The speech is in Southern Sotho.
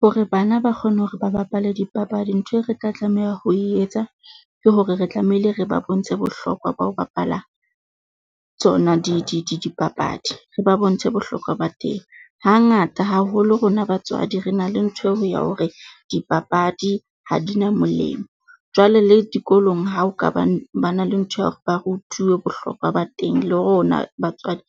Hore bana ba kgone hore ba bapale dipapadi, ntho e re tla tla tlameha ho e etsa. Ke hore re tlamehile re ba bontshe bohlokwa ba ho bapala tsona di di dipapadi, re ba bontshe bohlokwa ba teng. Hangata haholo rona batswadi re na le ntho eo ho ya hore, dipapadi ha di na molemo jwale le dikolong. Hao ka bane ba na le ntho, ba rutuwa bohlokwa ba teng, le rona batswadi